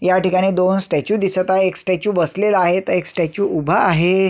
या ठिकाणी दोन स्टॅचू दिसत आहे एक स्टॅचू बसलेला आहे आणि एक स्टॅचू उभा आहे.